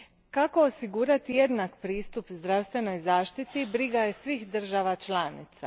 Kako osigurati jednak pristup zdravstvenoj zaštiti briga je svih država članica.